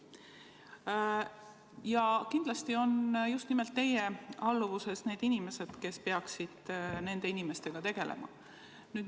Kindlasti on just nimelt teie alluvuses need inimesed, kes peaksid selliste inimestega tegelema.